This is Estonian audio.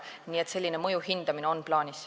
Nii et selline mõju hindamine on plaanis.